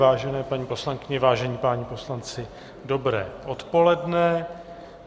Vážené paní poslankyně, vážení páni poslanci, dobré odpoledne.